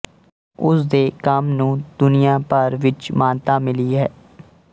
ਉਸ ਦੇ ਕੰਮ ਨੂੰ ਦੁਨੀਆ ਭਰ ਵਿੱਚ ਮਾਨਤਾ ਮਿਲੀ ਹੈ